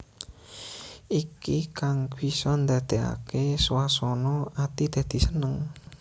Iki kang bisa ndadèkaké swasana ati dadi seneng